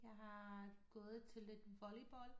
Jeg har gået til lidt volleyball